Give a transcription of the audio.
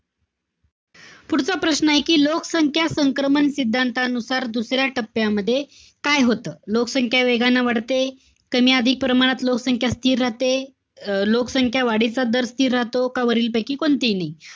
पुढचा प्रश्नय कि लोकसंख्या संक्रमण सिद्धांतानुसार दुसऱ्या टप्प्यामध्ये काय होत? लोकसंख्या वेगानं वाढते. कमी-अधिक प्रमाणात लोकसंख्या स्थिर राहते. अं लोकसंख्या वाढीचा दर स्थिर राहतो. का वरील पैकी कोणतीही नाही.